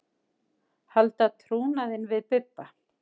Halda trúnaðinn við Bibba.